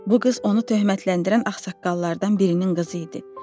Bu qız onu töhmətləndirən ağsaqqallardan birinin qızı idi.